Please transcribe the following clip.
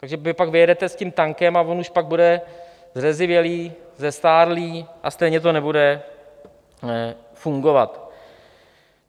Takže vy pak vyjedete s tím tankem a on už pak bude zrezivělý, zestárlý a stejně to nebude fungovat.